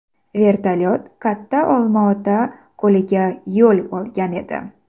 Vertolyot Katta Olmaota ko‘liga yo‘l olgan edi.